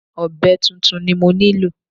Ọ̀be tuntun ni mo nílò.